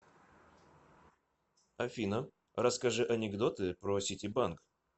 афина расскажи анекдоты про ситибанк